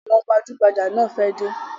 Àwọn gbajugbaja náà fẹ dé